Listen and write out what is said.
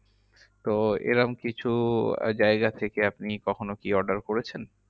তো এরম কিছু জায়গা থেকে আপনি কখনো কি order করেছেন?